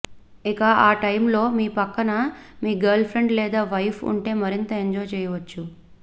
ఇక ఆ టైమ్లో మీ పక్కన మీ గర్ల్ఫ్రెండ్ లేదా వైఫ్ ఉంటే మరింత ఎంజాయ్ చేయొచ్చు